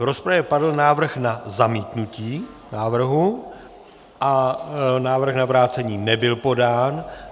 V rozpravě padl návrh na zamítnutí návrhu a návrh na vrácení nebyl podán.